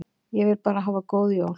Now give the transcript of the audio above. Ég vil bara hafa góð jól.